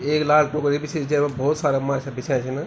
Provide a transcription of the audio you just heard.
ऐक लाल टोकरी बीसी जेमा भौत सारा माछा बिच्या छिन ।